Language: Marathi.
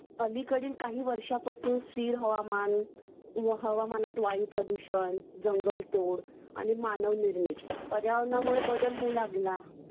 अलीकडील काही वर्षांपासून स्थिर हवामान व हवामानात वायुप्रदूषण जंगलतोड आणि मानव निर्मित पर्यावरणामुळे बदल होऊ लागला